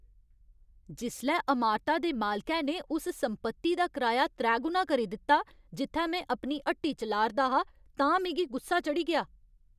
जिसलै अमारता दे मालकै ने उस संपत्ति दा कराया त्रैगुना करी दित्ता जित्थै में अपनी हट्टी चलाऽ 'रदा हा तां मिगी गुस्सा चढ़ी गेआ।